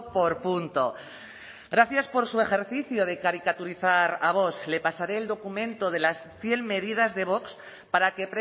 por punto gracias por su ejercicio de caricaturizar a vox le pasaré el documento de las cien medidas de vox para que